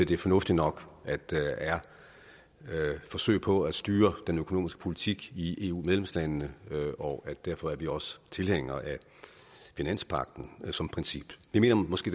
det er fornuftigt nok at der er forsøg på at styre den økonomiske politik i eu medlemslandene og derfor er vi også tilhængere af finanspagten som princip vi mener måske